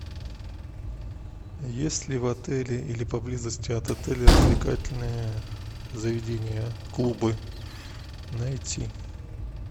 есть ли в отеле или поблизости от отеля развлекательные заведения клубы найти